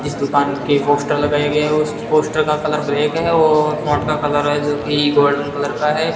इस दुकान के पोस्टर लगाया गया है उस पोस्टर का कलर ब्लैक है और फोंट का कलर है जो की गोल्डन कलर का है।